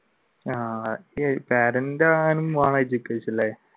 ആഹ്